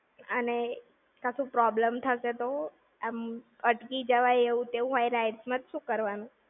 અને, કશું problem થશે તો? આમ અટકી જવાય એવું તેવું હોય rides માં તો શું કરવાનું?